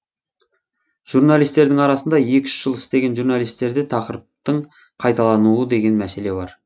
журналистердің арасында екі үш жыл істеген журналистерде тақырыптың қайталануы деген мәселе бар